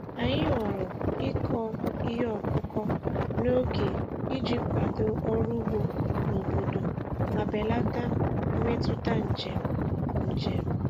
Anyị họọrọ ịkọ ihe ọkụkọ n'oge iji kwado ọrụ ugbo n'obodo ma belata mmetụta njem. njem.